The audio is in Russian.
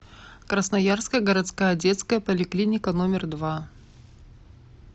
красноярская городская детская поликлиника номер два